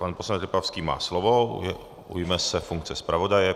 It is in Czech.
Pan poslanec Lipavský má slovo, ujme se funkce zpravodaje.